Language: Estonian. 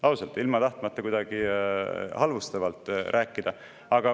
Ausalt, ilma tahtmata kuidagi halvustavalt rääkida!